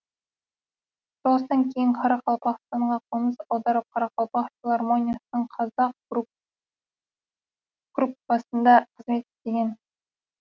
соғыстан кейін қарақалпақстанға қоныс аударып қарақалпақ филармониясының қазақ группасында қызмет істеген